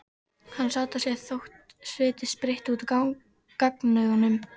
Hann sat á sér þótt sviti sprytti út á gagnaugunum.